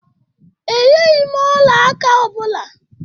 E yeghim ọla aka ọ bụla.